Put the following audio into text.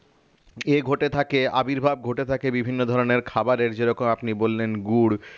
ইয়ে ঘটে থাকে আবির্ভাব ঘটে থাকে বিভিন্ন ধরণের খাবারের যেরকম আপনি বললেন গুড়